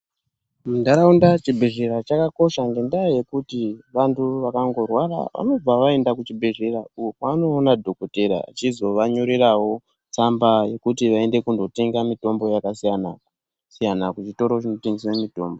Mundaraunda chibhedhlera chakakosha ngenda yekuti vantu vakangorwara vanobva vaenda kuchibhedhlera uko kwavanoona dhokoteya achizovanyorerawo tsamba yekuti vaende kundotenga mutombo kwakasiyana-siyana kuchitoro chinotengeswa mitombo.